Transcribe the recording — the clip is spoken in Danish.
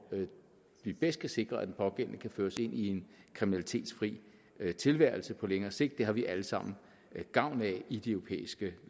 vi bedst kan sikre at den pågældende kan føres ind i en kriminalitetsfri tilværelse på længere sigt det har vi alle sammen gavn af i de europæiske